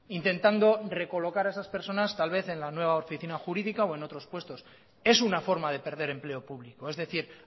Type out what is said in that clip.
intentando recolocar a esas personas tal vez en la nueva oficina jurídica o en otros puestos es una forma de perder empleo público es decir